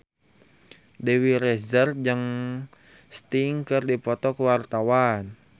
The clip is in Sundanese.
Dewi Rezer jeung Sting keur dipoto ku wartawan